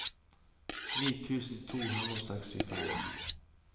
ni tusen to hundre og sekstifem